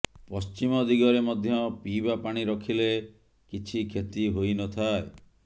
ପଶ୍ଚିମ ଦିଗରେ ମଧ୍ୟ ପିଇବା ପାଣି ରଖିଲେ କିଛି କ୍ଷତି ହୋଇନଥାଏ